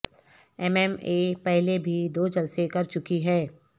M M A پہلے بھی دو جلسے کر چکی ہے